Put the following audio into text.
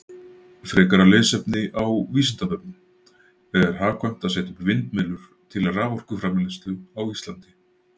Frekara lesefni á Vísindavefnum: Er hagkvæmt að setja upp vindmyllur til raforkuframleiðslu á Íslandi?